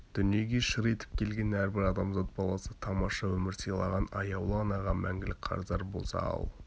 дүниеге шыр етіп келген әрбір адамзат баласы тамаша өмір сыйлаған аяулы анаға мәңгілік қарыздар болса ал